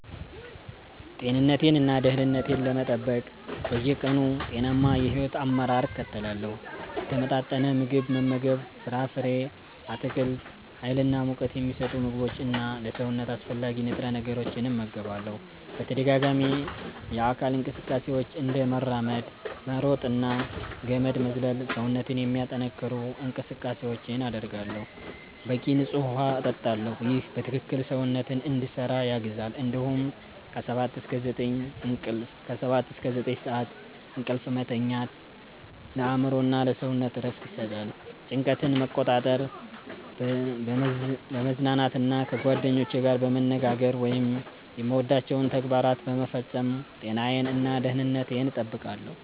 ጤንነቴን እና ደህንነቴን ለመጠበቅ በየቀኑ ጤናማ የሕይወት አመራር እከተላለሁ። የተመጣጠነ ምግብ መመገብ ፍራፍሬ፣ አትክልት፣ ሀይል እና ሙቀት ሚሰጡ ምግቦች እና ለሰውነት አስፈላጊ ንጥረ ነገሮችን እመገባለሁ። በተደጋጋሚ የአካል እንቅስቃሴዎች፤ እንደ መራመድ፣ መሮጥ እና ገመድ መዝለል ሰውነትን የሚያጠነክሩ እንቅስቃሴዎችን አደርጋለሁ። በቂ ንፁህ ውሃ እጠጣለሁ ይህ በትክክል ሰውነትን እንዲሰራ ያግዛል እንዲሁም ከ 7–9 ሰዓት እንቅልፍ መተኛት ለአእምሮ እና ለሰውነት እረፍት ይሰጣል። ጭንቀትን መቆጣጠር፣ በመዝናናት እና ከጓደኞቼ ጋር በመነጋገር ወይም የምወዳቸውን ተግባራት በመፈጸም ጤናዬን እና ደህንነቴን እጠብቃለሁ።